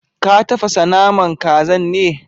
Ka tafasa naman kazan ne?